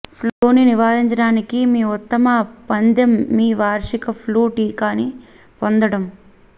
ఫ్లూని నివారించడానికి మీ ఉత్తమ పందెం మీ వార్షిక ఫ్లూ టీకాని పొందడం